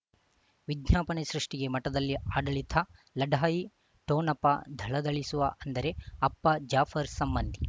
ವಿಜ್ಞಾಪನೆ ಸೃಷ್ಟಿಗೆ ಮಠದಲ್ಲಿ ಆಡಳಿತ ಲಢಾಯಿ ಠೊಣಪ ಧಳಧಳಿಸುವ ಅಂದರೆ ಅಪ್ಪ ಜಾಫರ್ ಸಂಬಂಧಿ